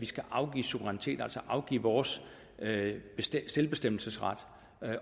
skal afgives suverænitet altså afgive vores selvbestemmelsesret